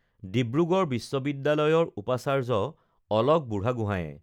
ডিব্ৰুগড় বিশ্ববিদ্যালয়ৰ উপাচাৰ্য অলক বুঢ়াগোহাঁইয়ে